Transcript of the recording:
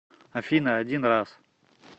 афина один раз